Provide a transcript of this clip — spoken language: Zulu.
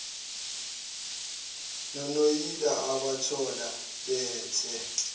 nonoyila obathola bethe